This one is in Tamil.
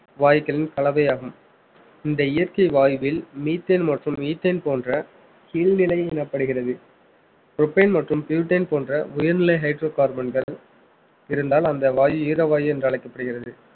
வாயுக்களின் கலவையாகும் இந்த இயற்கை வாயுவில் methane மற்றும் ethane போன்ற கீழ்நிலை எனப்படுகிறது propane மற்றும் butane போன்ற உயர்நிலை hydrocarbon கள் இருந்தால் அந்த வாயி ஈரவாயி என்று அழைக்கப்படுகிறது